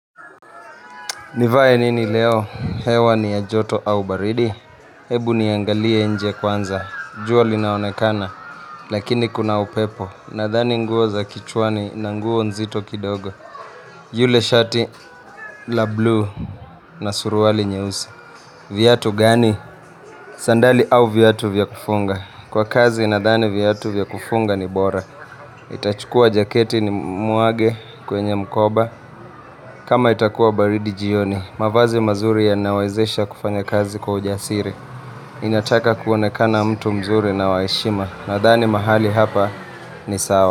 Nivaye nini leo, hewa ni ajoto au baridi, hebu niangalie nje kwanza, juo li naonekana, lakini kuna upepo, nadhani nguo za kichwani na nguo nzito kidogo, yule shati la blue na suruwali nyeuse. Vyatu gani? Sandali au vyatu vyakufunga Kwa kazi inadhani vyatu vyakufunga ni bora Itachukua jaketi ni muage kwenye mkoba kama itakuwa baridi jioni mavazi mazuri ya nawazesha kufanya kazi kwa ujasiri Inataka kuonekana mtu mzuri na waishima Nadhani mahali hapa ni sawa.